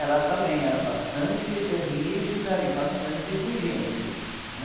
Ela também era bastante, ãh, rígida e bastante exigente, né?